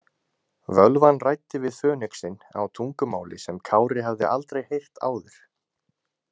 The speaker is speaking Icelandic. Völvan ræddi við fönixinn á tungumáli sem Kári hafði aldrei heyrt áður.